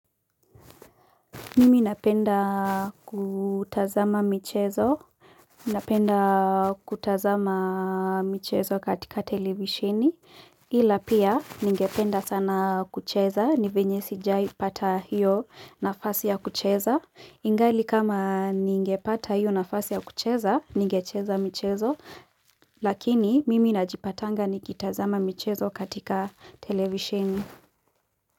Mimi napenda kutazama michezo, napenda kutazama michezo katika televisheni, ila pia ningependa sana kucheza, nivenye sijawahi pata hiyo nafasi ya kucheza. Ingali kama ningepata hiyo nafasi ya kucheza, ningecheza michezo, lakini mimi najipatanga nikitazama michezo katika televisheni.